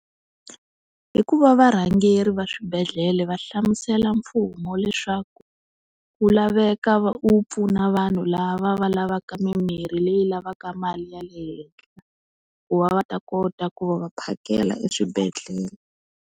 Hikuva varhangeri va swibedhlele va hlamusela mfumo leswaku wu laveka wu pfuna vanhu lava va lavaka mimirhi leyi lavaka mali ya le henhla ku va va ta kota ku va va phakela eswibedhlele.